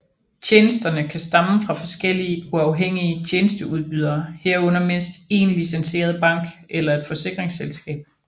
Tjenesterne kan stamme fra forskellige uafhængige tjenesteudbydere herunder mindst én licenseret bank eller et forsikringsselskab